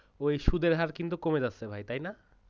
ওই সুদের হার কিন্তু কমে যাচ্ছে ভাই তাই না?